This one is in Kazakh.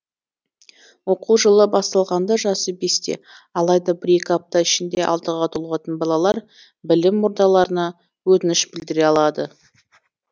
оқу жылы басталғанда жасы бесте алайда бір екі апта ішінде алтыға толатын балалар білім ордаларына өтініш білдіре алады